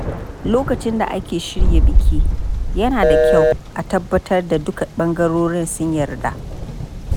Lokacin da ake shirya biki, yana da kyau a tabbatar da duka ɓangarorin sun yarda.